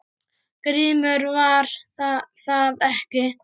GRÍMUR: Var það ekki!